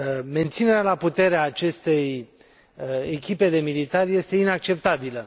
Menținerea la putere a acestei echipe de militari este inacceptabilă.